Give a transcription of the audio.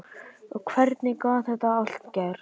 Og hvernig gat þetta allt gerst?